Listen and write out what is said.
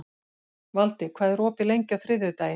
Valdi, hvað er opið lengi á þriðjudaginn?